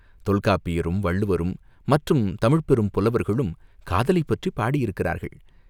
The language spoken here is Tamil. தொல்காப்பியரும், வள்ளுவரும், மற்றும் தமிழ்ப் பெரும் புலவர்களும் காதலைப் பற்றிப் பாடியிருக்கிறார்கள்.